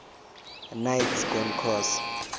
knights grand cross